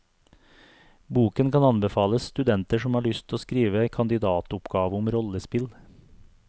Boken kan anbefales studenter som har lyst å skrive kandidatoppgave om rollespill.